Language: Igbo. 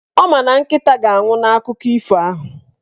Ọ ma na Nkịta ga-anwụ n'akụkọ ifo ahụ